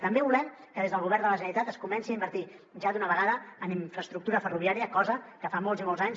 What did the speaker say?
també volem que des del govern de la generalitat es comenci a invertir ja d’una vegada en infraestructura ferroviària cosa que fa molts i molts anys